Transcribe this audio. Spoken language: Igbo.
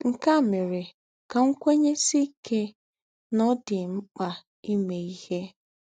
Nkē ā mērē ká m kwēnyēsiē íkē nà ọ̀ dī m m̀kpā ìmē íhē